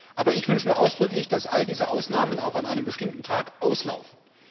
Aber ich wünsche mir ausdrücklich, dass all diese Ausnahmen auch an einem bestimmten Tag auslaufen.